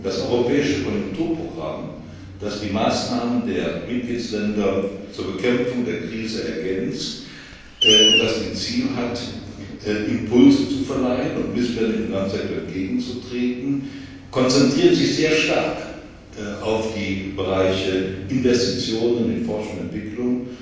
Das Europäische Konjunkturprogramm, das die Maßnahmen der Mitgliedstaaten zur Bekämpfung der Krise ergänzt und das Ziel hat, Impulse zu verleihen und Missständen im Finanzsektor entgegenzutreten, konzentriert sich sehr stark auf die Bereiche Investitionen in Forschung und Entwicklung